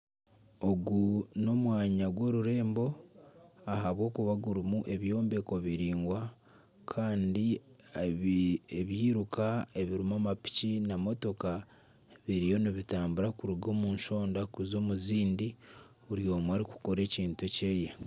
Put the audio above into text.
Ogu n'omwanya gw'orurembo ahabw’okuba gurimu ebyombeko biraingwa kandi ebyiruka ebirimu amapiki na motooka biriyo nibitambura kuruga omu shonda kuza omu zindi buri omwe arikukora ekintu ekyeye.